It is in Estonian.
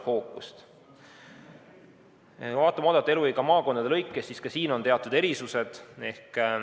Kui vaatame oodatavat eluiga maakondade lõikes, siis näeme ka siin teatud erisusi.